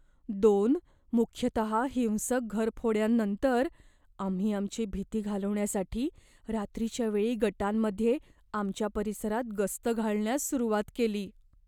दोन मुख्यतहा हिंसक घरफोड्यांनंतर, आम्ही आमची भीती घालवण्यासाठी रात्रीच्या वेळी गटांमध्ये आमच्या परिसरात गस्त घालण्यास सुरुवात केली.